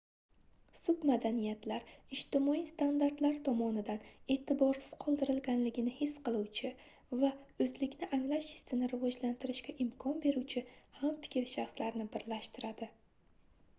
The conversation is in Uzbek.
submadaniyatlar ijtimoiy standartlar tomonidan eʼtiborsiz qoldirilganligini his qiluvchi va oʻzlikni anglash hissini rivojlantirishga imkon beruvchi hamfikr shaxslarni birlashtiradi